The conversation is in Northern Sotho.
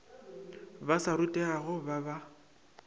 ba sa rutegago ba ba